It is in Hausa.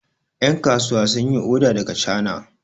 yankasuwa sun yi oda daga chana